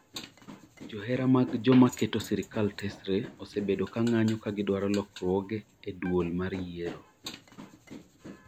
Johera mag joma keto sirikal tesre osebedo ka ng'anyo ka gidwaro lokruoge e duol mar yiero